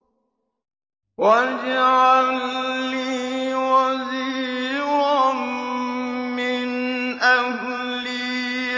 وَاجْعَل لِّي وَزِيرًا مِّنْ أَهْلِي